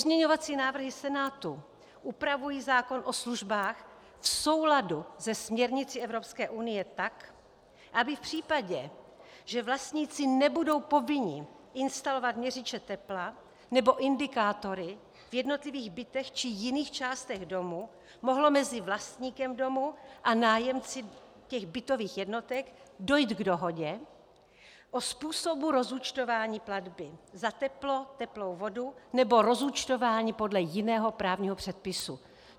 Pozměňovací návrhy Senátu upravují zákon o službách v souladu se směrnicí Evropské unie tak, aby v případě, že vlastníci nebudou povinni instalovat měřiče tepla nebo indikátory v jednotlivých bytech či jiných částech domu, mohlo mezi vlastníkem domu a nájemci těch bytových jednotek dojít k dohodě o způsobu rozúčtování platby za teplo, teplou vodu nebo rozúčtování podle jiného právního předpisu.